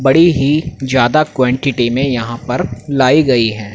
बड़ी ही ज्यादा क्वांटिटी में यहां पर लाई गई हैं।